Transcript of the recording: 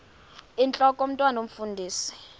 intlok omntwan omfundisi